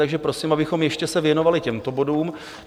Takže prosím, abychom se ještě věnovali těmto bodům.